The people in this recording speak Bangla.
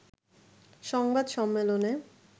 সংবাদ সম্মেলনে